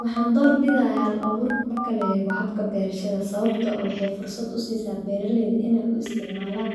Waxaan door bidaya hal abuurka marka la eego habka beerashada, Sababto ah waxee fursad usiisa beeraleyda ineey u isticmaalan,